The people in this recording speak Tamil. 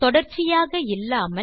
தொடர்ச்சியாக இல்லாமல்